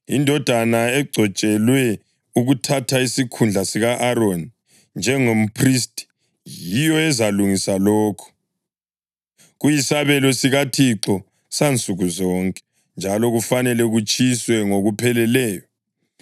Indodana egcotshelwe ukuthatha isikhundla sika-Aroni njengomphristi yiyo ezalungisa lokho. Kuyisabelo sikaThixo sansukuzonke, njalo kufanele kutshiswe ngokupheleleyo.